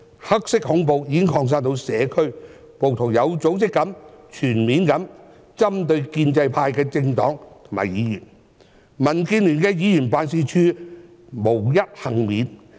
"黑色恐怖"已經擴散到社區，暴徒有組織地、全面地針對建制派政黨和議員，民建聯的議員辦事處無一幸免。